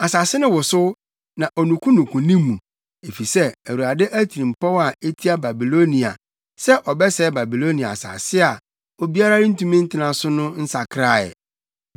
Asase no wosow, na onukunuku ne mu, efisɛ Awurade atirimpɔw a etia Babilonia sɛ ɔbɛsɛe Babilonia asase a obiara rentumi ntena so no nsakraa ɛ.